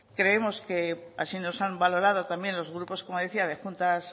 creemos que así nos han valorado también los grupos como decía de juntas